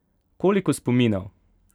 Koliko spominov!